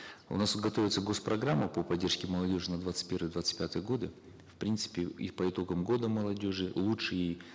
у нас готовится гос программа по поддержке молодежи на двадцать первый двадцать пятый годы в принципе и по итогам года молодежи лучшие